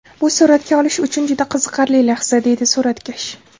Bu suratga olish uchun juda qiziqarli lahza”, deydi suratkash.